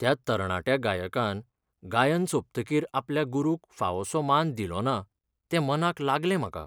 त्या तरणाट्या गायकान गायन सोंपतकीर आपल्या गुरूक फावोसो मान दिलोना, तें मनाक लागलें म्हाका.